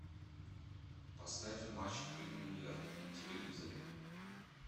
поставь матч премьер на телевизоре